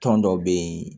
Tɔn dɔ bɛ yen